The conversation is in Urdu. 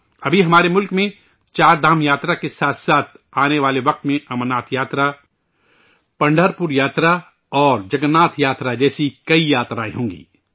ابھی ، ہمارے ملک میں، 'چار دھام یاترا' کے ساتھ ساتھ آنے والے وقت میں 'امرناتھ یاترا'، 'پنڈھرپور یاترا' اور 'جگن ناتھ یاترا' جیسی کئی یاترائیں ہوں گی